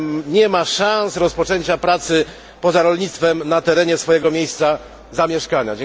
nie ma szans rozpoczęcia pracy poza rolnictwem na terenie swojego miejsca zamieszkania.